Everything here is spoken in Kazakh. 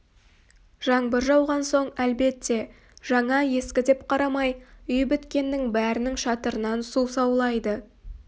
жаңбыр жауған соң әлбетте жаңа-ескі деп қарамай үй біткеннің бәрінің шатырынан су саулайды